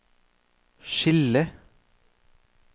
skille